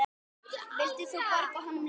Vildir þú borga honum laun?